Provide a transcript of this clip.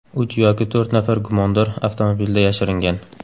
Uch yoki to‘rt nafar gumondor avtomobilda yashiringan.